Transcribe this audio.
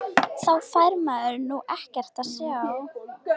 Þá fær maður nú ekkert að sjá!!